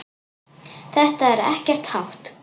Þetta er ekkert hátt.